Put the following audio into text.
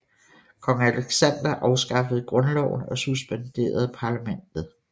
Kong Aleksander afskaffede grundloven og suspenderede parlamentet